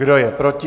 Kdo je proti?